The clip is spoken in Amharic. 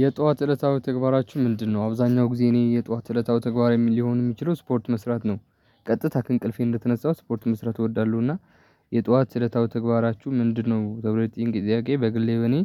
የጧት እለታዊ ተግባራችሁ ምንድነው? አብዛኛው ጊዜ እኔ የጧት እለታዊ ተግባራዊ ሊሆን የሚችለው ስፖርት መስራት ነው። ቀጥታ ከእንቅልፌ እንደተነሳው ስፖርት መስራት እወዳለሁና። የጧት እለታዊ ተግባራችሁ ምንድነው? ተብሎ የተጠየቅን ጥያቄ በግሌ በኔ